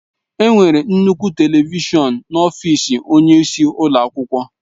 Enwere nnukwu telivishọn n'ọfịs onyeisi ụlọ akwụkwọ.